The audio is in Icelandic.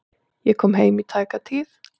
Ég kom heim í tæka tíð.